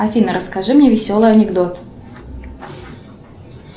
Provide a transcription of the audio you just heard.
афина расскажи мне веселый анекдот